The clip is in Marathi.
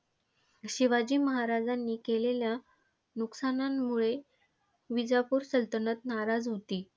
शिवाजी महाराजांनी केलेल्या नुकसानांमुळे विजापूर सलतनत नाराज होती.